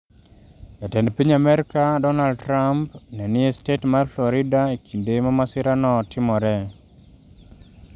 Jatend piny Amerka Donald Trump ne ni e stet mar Florida e kinde ma masirano timore.